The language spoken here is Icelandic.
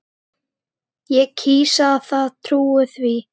Ég kýs að trúa því.